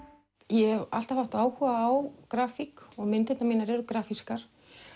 ég hef alltaf haft áhuga á grafík og myndirnar mínar eru grafískar